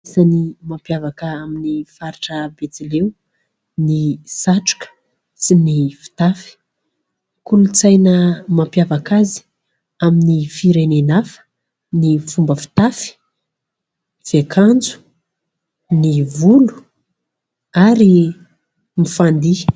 Voalohany mampiavaka ny faritra betsileo ny satroka sy ny fitafy. Kolontsaina mampiavaka azy amin'ny firenena hafa ny fomba fitafy, fiakanjo, ny volo, ary ny fandihy.